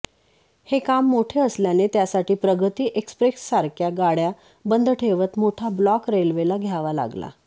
हे काम मोठे असल्याने त्यासाठी प्रगती एक्स्प्रेससारख्या गाडय़ा बंद ठेवत मोठा ब्लॉक रेल्वेला घ्यावा लागला